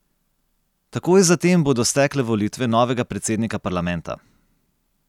Takoj zatem bodo stekle volitve novega predsednika parlamenta.